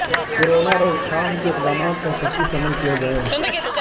corona روک تھام کے اقدامات پر سختی سے عمل کیا جائے